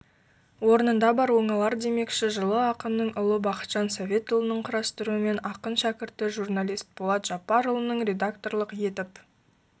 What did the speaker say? орнында бар оңалардемекші жылы ақынның ұлы бақытжан советұлының құрастыруымен ақын шәкірті журналист болат жапарұлының редакторлық етіп